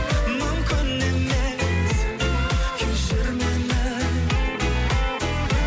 мүмкін емес кешір мені